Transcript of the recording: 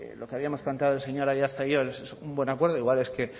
lo que habíamos planteado el señor aiartza y yo es un buen acuerdo igual es que